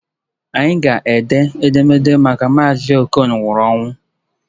Anyị ga-ede edemede maka Mazi okon nwụrụ anwụ